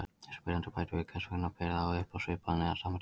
Spyrjandi bætir við: Hvers vegna ber þá upp á svipaðan eða sama tíma?